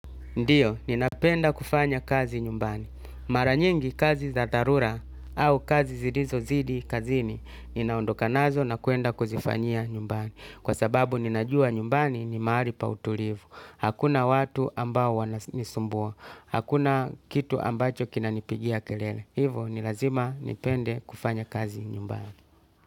Ndiyo, ninapenda kufanyakazi nyumbani. Mara nyingi kazi za darura au kazi zilizozidi kazini, ninaondoka nazo na kwenda kuzifanyia nyumbani. Kwa sababu ninajua nyumbani ni mahali pautulivu. Hakuna watu ambao wanisumbua. Hakuna kitu ambacho kinanipigia kelele. Hivo, nilazima nipende kufanyakazi nyumbani.